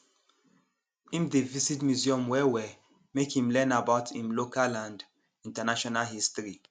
im dey visit museum wellwell make him learn about im local and international history